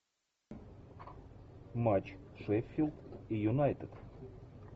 матч шеффилд и юнайтед